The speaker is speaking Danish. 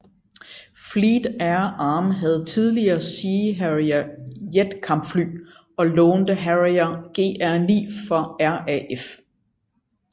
Fleet Air Arm havde tidligere Sea Harrier jetkampfly og lånte Harrier GR9 fra RAF